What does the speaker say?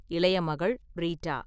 இளைய மகள் ரீட்டா.